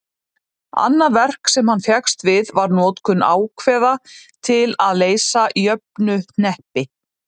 annað verk sem hann fékkst við var notkun ákveða til að leysa jöfnuhneppi